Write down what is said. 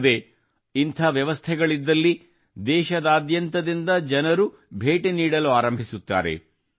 ಅಲ್ಲದೆ ಇಂಥ ವ್ಯವಸ್ಥೆಗಳಿದ್ದಲ್ಲಿ ದೇಶಾದ್ಯಂತದಿಂದ ಜನರು ಭೇಟಿ ನೀಡಲಾರಂಭಿಸುತ್ತಾರೆ